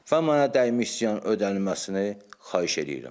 Və mənə dəymiş ziyan ödənilməsini xahiş eləyirəm.